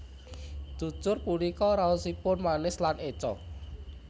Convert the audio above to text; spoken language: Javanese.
Cucur punika raosipun manis lan éca